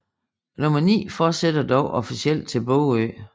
N9 fortsætter dog officielt til Bogø